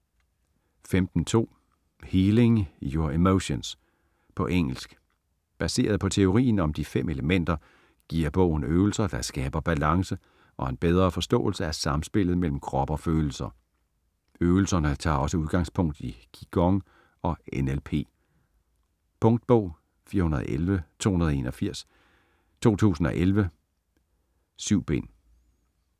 15.2 Healing your emotions På engelsk. Baseret på teorien om De fem elementer giver bogen øvelser, der skaber balance og en bedre forståelse af samspillet mellem krop og følelser. Øvelserne tager også udgangspunkt i Qi Gong og NLP. Punktbog 411281 2011. 7 bind.